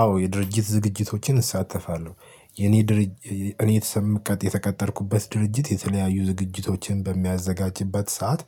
አዎ የድርጅት ዝግጅቶችን እሳተፋለሁ። የኔ ድርጅት እኔ የተሰማ የተቀጠርኩበት ድርጅት የተለያዩ ዝግጅቶችን በሚያዘጋጅበት ሰዓት